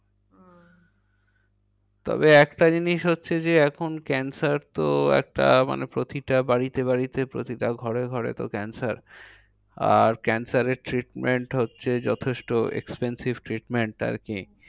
তবে একটা জিনিস হচ্ছে যে, এখন cancer তো একটা মানে প্রতিটা বাড়িতে বাড়িতে প্রতিটা ঘরে ঘরে তো cancer. আর cancer এর treatment হচ্ছে যথেষ্ট expensive treatment আরকি।